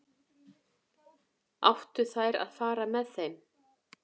Áttu þær að fara með þeim?